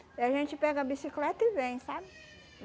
E a gente pega a bicicleta e vem, sabe?